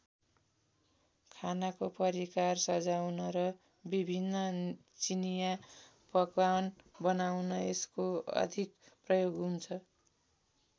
खानाको परिकार सजाउन र विभिन्न चिनिया पकवान बनाउन यसको अधिक प्रयोग हुन्छ।